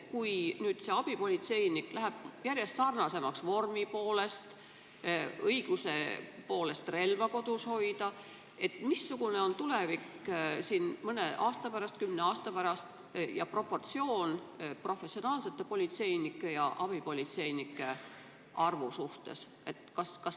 Kui nüüd abipolitseinikud muutuvad politseinikega järjest sarnasemaks vormi poolest ja õiguse poolest relva kodus hoida, siis missugune on tulevik mõne aasta pärast või kümne aasta pärast ning professionaalsete politseinike ja abipolitseinike arvu proportsioon?